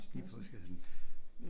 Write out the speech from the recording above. I postkassen